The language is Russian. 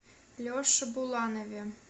леше буланове